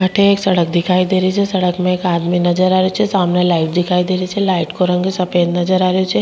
अठे एक सड़क दिखाई दे रही छे सड़क पर एक आदमी नजर आ रो छे सामने लाइट दिखाई दे रही छे लाइट का रंग सफ़ेद नजर आ रो छे।